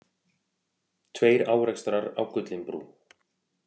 Tveir árekstrar á Gullinbrú